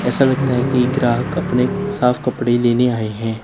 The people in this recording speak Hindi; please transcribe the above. ऐसा लगता है कि ग्राहक अपने साफ कपड़े लेने आए हैं।